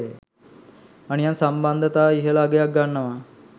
අනියම් සම්බන්දතා ඉහල අගයක් ගන්නවා